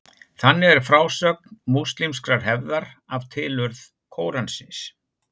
þannig er frásögn múslímskrar hefðar af tilurð kóransins